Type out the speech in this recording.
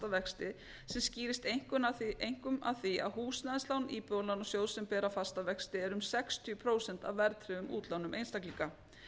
vexti sem skýrist einkum af því að húsnæðislán íbúðalánasjóðs sem bera fasta vexti eru um sextíu prósent af verðtryggðum útlánum einstaklinga